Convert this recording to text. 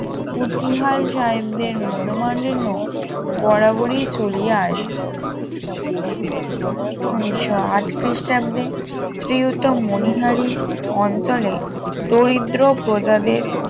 কুঠিয়াল সাহেবদের মনমালিন্য বরাবরই চলিয়া আসিত উনিশশো আট খ্রিস্টাব্দে ত্রিয়তু মনিহারি অঞ্চলে দরিদ্র প্রজাদের